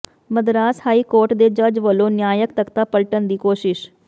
Madras high court ਦੇ ਜੱਜ ਵੱਲੋਂ ਨਿਆਂਇਕ ਤਖ਼ਤਾ ਪਲਟਣ ਦੀ ਕੋਸ਼ਿਸ਼